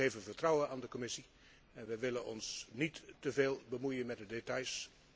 Wij geven vertrouwen aan de Commissie en wij willen ons niet te veel bemoeien met de details.